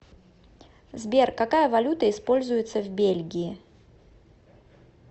сбер какая валюта используется в бельгии